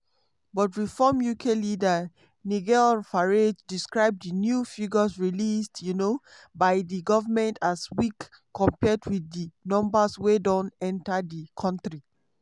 but reform uk leader nigel farage describe di new figures released um by di goment as weak compared wit di numbers wey don enta di kontri.